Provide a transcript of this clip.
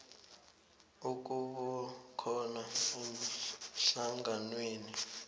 ukuba khona emhlanganweni